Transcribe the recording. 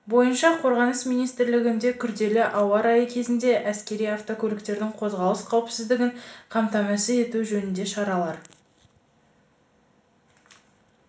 бойынша қорғаныс министрлігінде күрделі ауа райы кезінде әскери автокөліктердің қозғалыс қауіпсіздігін қамтамасыз ету жөнінде шаралар